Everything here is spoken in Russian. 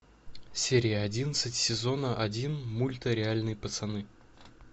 серия одиннадцать сезона один мульта реальные пацаны